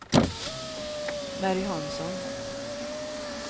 Mary Hansson